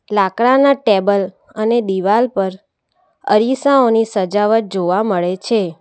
લાકડાના ટેબલ અને દિવાલ પર અરીસાઓની સજાવટ જોવા મળે છે.